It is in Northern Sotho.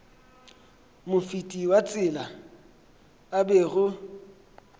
mofeti wa tsela a bego